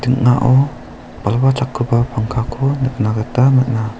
ding·ao balwa chakgipa pangkako nikna gita man·a.